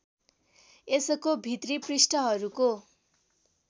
यसको भित्री पृष्ठहरूको